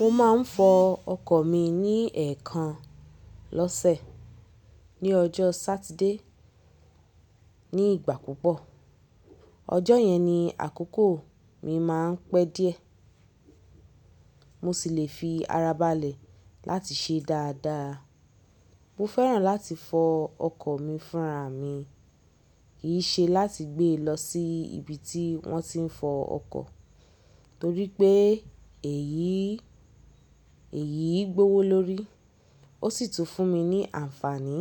Mo máa ń fọ ọkọ̀ mi ní ẹ̀ẹ̀kan Losẹ̀, ní ọjọ́ Satide, ní ìgbà púpọ̀. Ọjọ́ yẹn ni àkókò mi máa ń pẹ́ díẹ̀, mo sì lè fi ara balẹ̀ láti ṣe dáadáa. Mo fẹ́ràn láti fọ ọkọ̀ mi fúnra mi, kì í ṣe láti gbée lọ sí ibi tí wọ́n ti ń fọ ọkọ̀ torí pé èyí, Eyí gbówó lórí, ó sì tún fún mi ní àǹfààní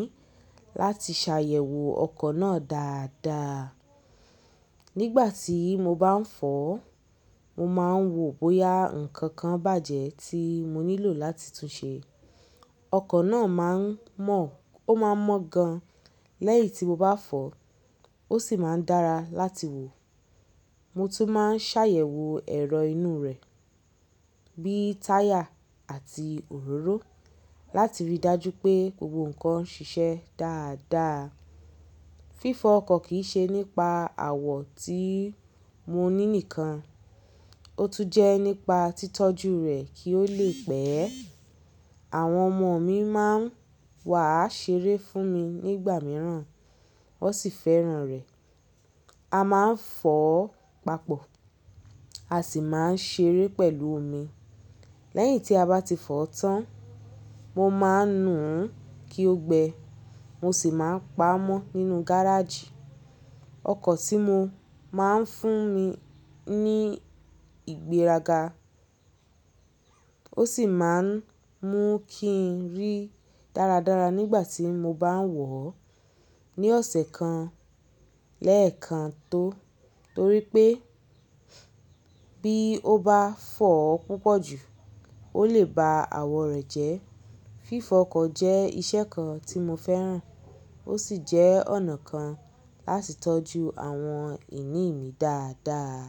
láti ṣàyẹ̀wò ọkọ̀ náà dáadáa. Nígbà tí mo bá ń fo ọ, mo máa ń wò bóyá nǹkankan bàjẹ́ tí mo nílò láti túnṣe. Ọkọ̀ náà máa ń mọ, ó máa ń mọ gan-an lẹ́yìn tí mo bá fọ, ó sì máa ń dára láti wò. Mo tún máa ń ṣàyẹ̀wò ẹ̀rọ inú rẹ̀ Bíi táyà àti òróró láti rí i dájú pé gbogbo nǹkan ń ṣiṣẹ́ dáadáa. Fífọ ọkọ̀ kì í ṣe nípa àwọ̀ tí mo ní nìkan, ó tún jẹ́ nípa títọ́jú rẹ̀ kí ó lè pẹ́. Àwọn ọmọ mi máa ń wà á ṣeré fún mi nígbà mìíràn, wọ́n sì fẹ́ràn rẹ̀. A máa ń fọ ó papọ̀, a sì máa ń ṣeé pẹ̀lú omi. Lẹ́yìn tí a bá ti fọ ọ́ tán, mo máa ń nù ú kí ó gbẹ, mo sì máa ń pa á mọ́ nínú gáràajì. Ọkọ̀ tí mo máa ń fún mi ní ìgbéraga, ó sì máa ń mú kí n rí dáradára nígbà tí mo bá ń wọ̀ ọ́. Ni ọ̀sẹ̀ kan, lẹ́ẹ̀kan tó torí pé bí ó bá fo ọ́ púpọ̀ jù, ó lè ba àwọ̀ rẹ̀ jẹ́. Fífọ ọkọ̀ jẹ́ iṣẹ́ kan tí mo fẹ́ràn, ó sì jẹ́ ọ̀nà kan láti tọ́jú àwọn ìní mi dáadáa.